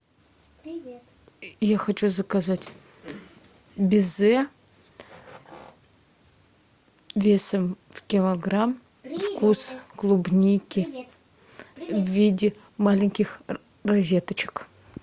я хочу заказать безе весом в килограмм вкус клубники в виде маленьких розеточек